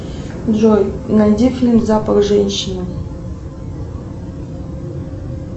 джой найди фильм запах женщины